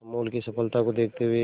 अमूल की सफलता को देखते हुए